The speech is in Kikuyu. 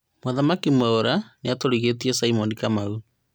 Mũthamaki Mwaura niatũgĩrĩtie Samuel Kamau